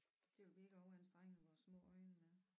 Det vil vi ikke overanstrenge vores små øjne med